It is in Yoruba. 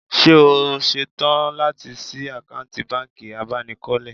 Ṣé o ṣetán láti ṣí àkáǹtì bánkì abánikọ́lé?